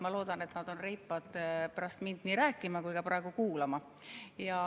Ma loodan, et nad on reipad, et nii pärast mind rääkida kui ka praegu kuulata.